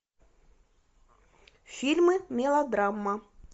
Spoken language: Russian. фильмы мелодрама